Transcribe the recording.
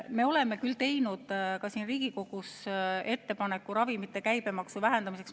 Me oleme teinud ka siin Riigikogus ettepaneku ravimite käibemaksu vähendamiseks.